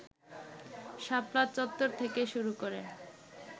শাপলা চত্বর থেকে শুরু করে